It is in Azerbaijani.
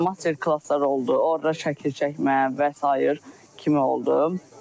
Master-klasslar oldu, orda şəkil çəkmə və sair kimi oldu.